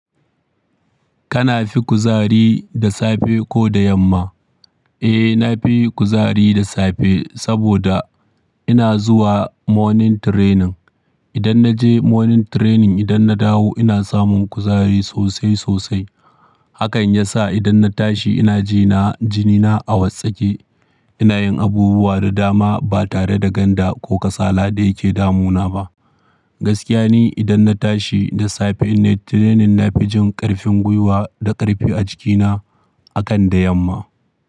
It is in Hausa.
Kana fi kuzari da safe ko da yamma? Eh, na fi kuzari da safe saboda ina zuwa morning training. Idan na je morning training, idan na dawo ina samun kuzari sosai sosai. Hakan ya sa idan na tashi ina je na jinina a watsake. Ina yin abubuwa da dama ba tare da ganda ko kasala ɗaya ke damuna ba. Gaskiya ne idan na tashi da safe na yi training, na fi jin ƙarfin gwiwa da ƙarfi a jikina akan da yamma.